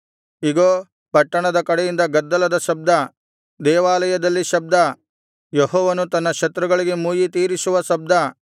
ಇಗೋ ಪಟ್ಟಣದ ಕಡೆಯಿಂದ ಗದ್ದಲದ ಶಬ್ದ ದೇವಾಲಯದಲ್ಲಿ ಶಬ್ದ ಯೆಹೋವನು ತನ್ನ ಶತ್ರುಗಳಿಗೆ ಮುಯ್ಯಿತೀರಿಸುವ ಶಬ್ದ